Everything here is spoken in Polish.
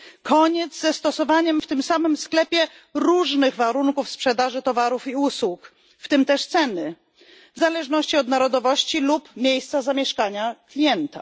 Koniec ze stosowaniem w tym samym sklepie różnych warunków sprzedaży towarów i usług, w tym też ceny, w zależności od narodowości lub miejsca zamieszkania klienta.